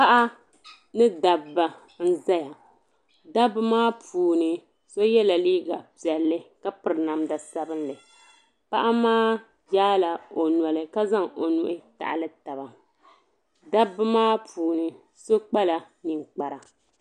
Paɣa ni dabba n zaya dabba maa puuni so yiɛla liiga piɛlli ka piri namda sabinli paɣa maa yaa la o noli ka zaŋ o nuhi taɣili taba dabba maa puuni so kpala ninkpara.